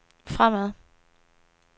fremad